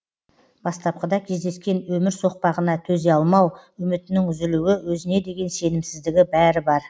бастапқыда кездескен өмір соқпағына төзе алмау үмітінің үзілуі өзіне деген сенімсіздігі бәрі бар